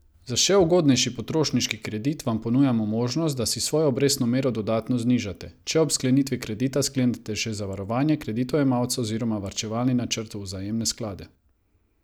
Za še ugodnejši potrošniški kredit vam ponujamo možnost, da si svojo obrestno mero dodatno znižate, če ob sklenitvi kredita sklenete še zavarovanje kreditojemalca oziroma varčevalni načrt v vzajemne sklade.